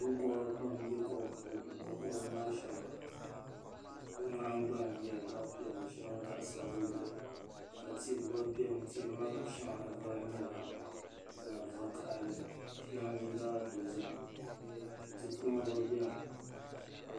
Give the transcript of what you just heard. Binkobiri pam n bɛ kom puuni binkobi maa shɛba bi nahingbana nyɛla zaɣi piɛlli shɛŋa zaɣi sabinli ka tihi gba bɛni tihi maa shɛŋa vari nyɛla zaɣi vakahali shɛŋa zaɣi dozim tikuma gba bɛni.